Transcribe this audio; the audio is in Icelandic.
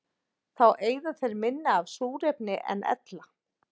Þá eyða þeir minna af súrefni en ella.